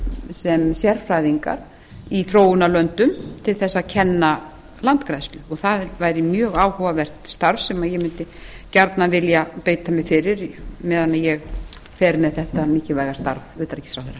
sem sérfræðingar í þróunarlöndum til að kenna landgræðslu og það væri mjög áhugavert starf sem ég mundi gjarnan vilja beita mér fyrir meðan ég fer þetta mikilvæga starf